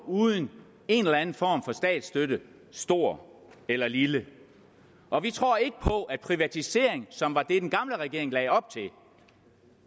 uden en eller anden form for statsstøtte stor eller lille og vi tror ikke på at privatisering som var det den gamle regering lagde op til